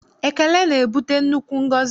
Ekele na-ebute nnukwu ngọzi.